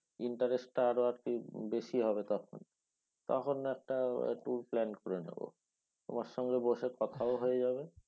interest টা আরও আর কি বেশি হবে তখন। তখন একটা tour plan করে নেবো। তোমার সঙ্গে বসে কোথাও হয়ে যাবে